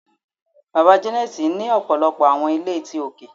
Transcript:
Baba Janet ni ọpọlọpọ awọn ile ti oke